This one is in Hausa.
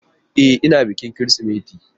E, ina bikin Kirsimeti.